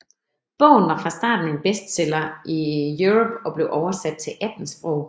Bogen var fra starten en bestseller i Europe og blev oversat til 18 sprog